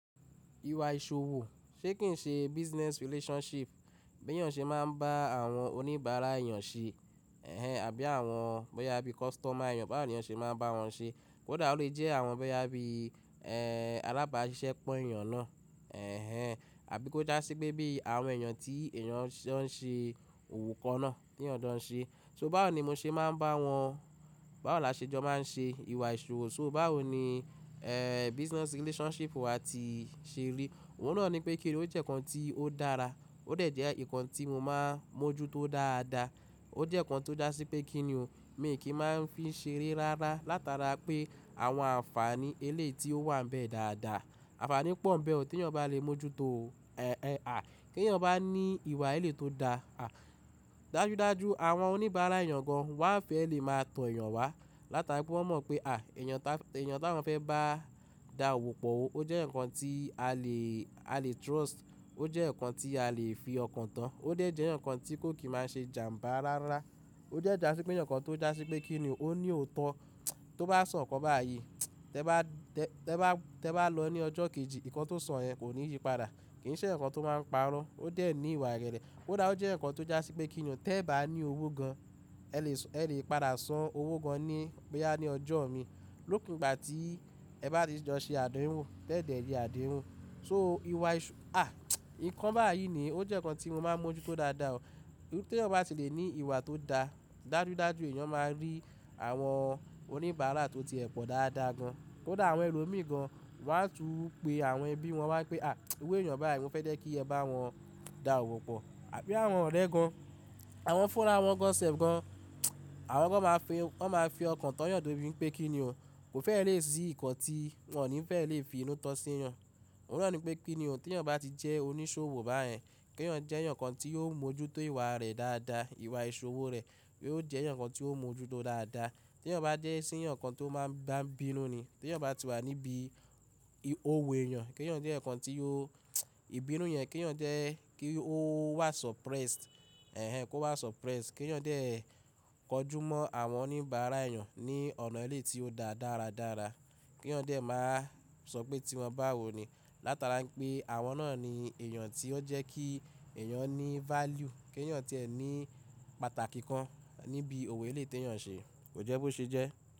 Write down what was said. Ìwà ìṣòwò ṣé kì ń ṣe business relationship bí èèyàn ṣe máa ń bá àwọn oníbàárà èèyàn ṣe, ẹhẹ̀n àbí àwọn bóyá bí customer èèyàn bá àwọn èèyàn ṣe máa ń bá wọn ṣe. Kódà ó lè jẹ́ àwọn bóyá bí, ẹ́ẹ́, alábàáṣiṣẹ́ pọn èèyàn náà, ẹhẹ̀n, àbí kó jásí pé bí àwọn èèyàn tí èèyàn ṣe ń ṣe òwò kan náà, ti eeyan jo ń ṣe. So báwo ni mo ṣe máa ń bá wọn, báwo la ṣe jọ máa ń ṣe ìwà ìṣòwò, so báwo ni, ẹ́ẹ́, business relationship wa ti ṣe rí. Òun náà ni pé kíni ó jẹ́ nǹkan tí ó dára, ó dẹ̀ jẹ́ nǹkan tí mo máa ń mójú tó dáadáa. Ó jẹ́ nǹkan tó jásí pé kíni o, mi kì í máa ń fi ṣe re rárá látara pé àwọn ànfàní eléyi ti ó wà ń bẹ dáadáa. Ànfàní pọ̀ ń bẹ o tí èèyàn bá le mójú tó o, ẹhẹ̀n, à, kí èèyàn bá ní ìwà elé tó da, à, dájúdájú àwọn oníbàárà èèyàn gan wá ń fẹ́ lè máa tọ èèyàn wá látara pé wọ́n mọ̀ pé, à, èèyàn ta, èèyàn táwọn fẹ́ bá da òwò pọ̀ ó, ó jẹ́ eyan kan tí a lè, a lè trust, ó jẹ́ nǹkan tí a lè fi ọkàn tán. Ó dẹ̀ jẹ́ nǹkan tí kó kì í máa ń ṣe jàǹbá rárá. Ó de jásí pé eyankan tó jásí pé kíni o, ó ní òótọ́. Tó bá sọ̀kọ báyìí, tẹ bá, tẹ bá, tẹ bá lọ ní ọjọ́ kejì, nǹkan tó sọ yẹn kò ní yí padà. Kì í ṣe nǹkan tó máa ń parọ́. Ó dẹ̀ ní ìwà ìrẹ̀lẹ̀. Ó dáa ó jẹ́ nǹkan tó jásí pé kíni o, tẹ bá ní owó gan, ẹ lè sọ, ẹ lè padà san owó gan ní bóyá ní ọjọ́ ọ̀rin, lópin ìgbà tí ẹ bá ti jọ ṣe àdehùn, tẹ dẹ̀ ye àdehùn. So ìwà ìṣò, à, nǹkan báyìí ni ó jẹ́ nǹkan tí mo máa ń mójú tó dáadáa o. Nígbà tí èèyàn bá ti lè ní ìwà tó da, dájúdájú èèyàn máa rí àwọn oníbàárà tó ti ẹ pọ̀ dáadáa gan. Ó dáa àwọn ẹlo mi gan wá ń tu pé àwọn ẹbí wọn wá ń pé, à, iru èèyàn báyìí mo fẹ́ jẹ́ kí ẹ bá wọn da òwò pọ̀. Àbí àwọn ọ̀rẹ́ gan, àwọn fúnra wọn gan, sẹ́ẹ̀f gan, àwọn gan máa fi, wọ́n máa fi ọkàn tán yàn de bi wipeé kíni o, kò fẹ́ lè rí nǹkan tí wọ́n ò ní fẹ́ lè fi inú tán sí èèyàn. Òun náà ni pé kíni o, tí èèyàn bá ti jẹ́ oníṣòwò báyẹn, kí èèyàn jẹ́ nǹkan tí yóò mójú tó ìwà rẹ̀ dáadáa, ìwà ìṣòwò rẹ̀, yio ó jẹ́ eyan kan tí ó mójú tó dáadáa. Tí èèyàn bá dé sí nǹkan tó máa ń bá ń bínú ni, tí èèyàn bá ti wà níbí òwo èèyàn, kí èèyàn jẹ́ nǹkan tí yóò, ìbínú yẹn kí èèyàn jẹ́ kí ó wà suppressed, ẹhẹ̀n, kó wà suppressed. Kí èèyàn dé kọjú mọ́ àwọn oníbàárà èèyàn ní ọ̀nà eléyi tí ó da dáradára. Kí èèyàn dé má sọ pé tí wọn bá wọ ni látara pé àwọn náà ni èèyàn tí ó jẹ́ kí èèyàn ní value, kí èèyàn tí ẹ ní pàtàkì kan níbi òwe elé tí èèyàn ṣe, kò jẹ́ bó ṣe jẹ́.